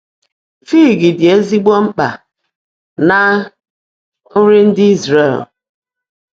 Fig dị ezigbo mkpa ná nri ndị Izrel.